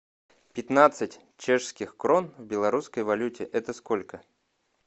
пятнадцать чешских крон в белорусской валюте это сколько